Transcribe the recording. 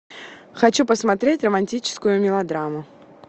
хочу посмотреть романтическую мелодраму